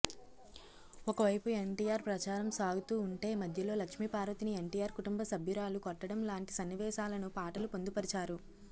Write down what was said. ఒకవైపు ఎన్టీఆర్ ప్రచారం సాగుతూ ఉంటే మధ్యలో లక్ష్మీపార్వతిని ఎన్టీఆర్ కుటుంబ సభ్యురాలు కొట్టడం లాంటి సన్నివేశాలను పాటలు పొందుపరిచారు